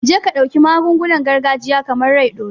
Jeka dauki magungunan gargajiya, kamar "rai ɗore"